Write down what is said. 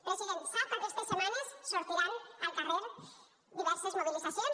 president sap que aquestes setmanes sortiran al carrer diverses mobilitzacions